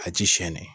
A ji siyɛnni